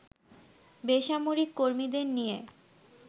বেসামরিক কর্মীদের নিয়ে